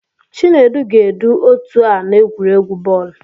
Chinedu ga-edu otu a n'egwuregwu bọọlụ.